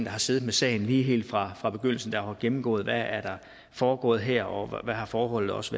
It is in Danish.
har siddet med sagen helt fra fra begyndelsen og som har gennemgået hvad der er foregået her og hvad forholdet også